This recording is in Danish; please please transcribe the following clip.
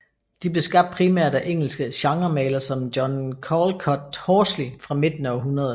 De blev skabt primært af engelske genremalere som John Callcott Horsley fra midten af århundredet